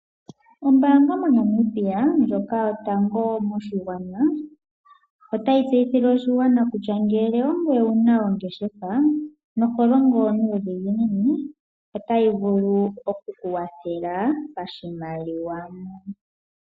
Ombanga moNamibia ndjoka yotango moshigwana, otayi tseyithile oshigwana kutya ngele ongoye wuna ongeshefa noho longo nuudhiginini otayi vulu oku kuwathela.